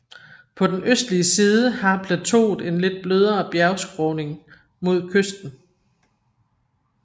På den østlige side har plateauet en lidt blødere bjergskråning mod kysten